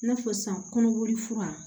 I n'a fɔ sisan kɔnɔboli fura